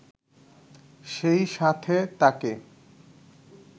সেই সাথে তাকে